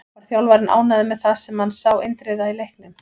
Var þjálfarinn ánægður með það sem hann sá Indriða í leiknum?